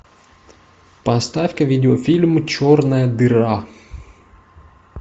поставь ка видеофильм черная дыра